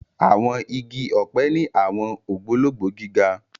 Àwọn igi ọpẹ ni awọn ogbologbo gíga.